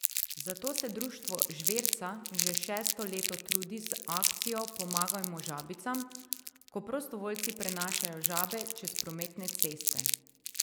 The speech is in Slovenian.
Zato se društvo Žverca že šesto leto trudi z akcijo Pomagajmo žabicam, ko prostovoljci prenašajo žabe čez prometne ceste.